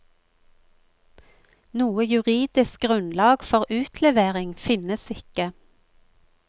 Noe juridisk grunnlag for utlevering finnes ikke.